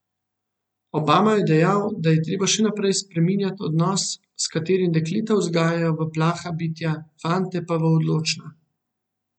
Obama je dejal, da je treba še naprej spreminjati odnos, s katerim dekleta vzgajajo v plaha bitja, fante pa v odločna.